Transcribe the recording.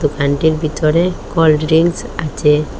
দোকানটির ভিতরে cold drinks আচে।